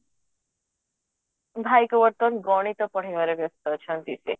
ଭାଇକୁ ବର୍ତମାନ ସେ ଗଣିତ ପଢେଇବାରେ ବ୍ୟସ୍ତ ଅଛନ୍ତି ସେ